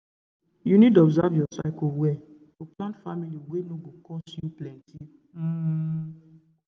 true true you need observe your cycle well to plan family wey no go cost you plenty um